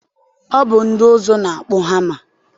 Ọ bụ ndị ụzụ na-akpụ hama.